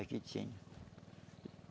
Aqui tinha.